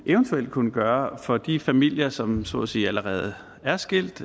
eventuelt kunne gøre for de familier som så at sige allerede er skilt